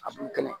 A b'u kɛlɛ